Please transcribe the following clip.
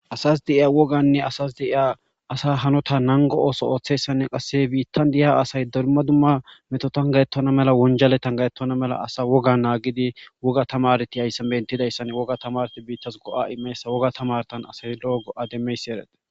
Asas de'iya woganne asas de'iya asa hanota nango ooso ooththessanne qasse biittan deyiya asay doruma dumma meto tangayettona mela wonjale tangayettona mela asa woga naagidi woga tamarti hayssan bentidayssan woga tamarti biittas go'a imeessa woga tamartan asay lo'o go'a demmeyssi ereda.